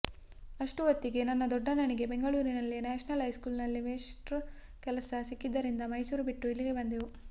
ಅಷ್ಟು ಹೊತ್ತಿಗೆ ನನ್ನ ದೊಡ್ಡಣ್ಣನಿಗೆ ಬೆಂಗಳೂರಿನಲ್ಲೇ ನ್ಯಾಷನಲ್ ಹೈಸ್ಕೂಲ್ನಲ್ಲಿ ಮೇಷ್ಟ್ರ ಕೆಲಸ ಸಿಕ್ಕಿದ್ದರಿಂದ ಮೈಸೂರು ಬಿಟ್ಟು ಇಲ್ಲಿಗೆ ಬಂದೆವು